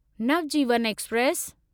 Navjivan express